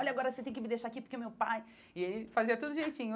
Olha, agora você tem que me deixar aqui porque o meu pai... E ele fazia tudo direitinho.